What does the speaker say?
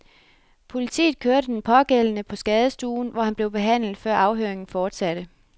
Politiet kørte den pågældende på skadestuen, hvor han blev behandlet, før afhøringen fortsatte.